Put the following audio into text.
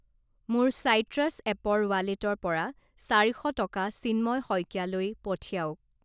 মোৰ চাইট্ৰাছ এপৰ ৱালেটৰ পৰা চাৰি শ টকা চিন্ময় শইকীয়া লৈ পঠিয়াওক।